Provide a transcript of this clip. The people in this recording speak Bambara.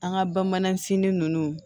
An ka bamanan sini ninnu